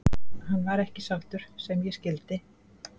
Hann var ekki sáttur sem ég skildi.